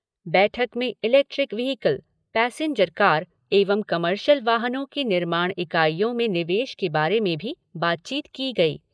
बैठक में electric vehicle, passenger car एवं कमर्शियल वाहनों की निर्माण इकाईयों में निवेश के बारे में भी बातचीत की गई।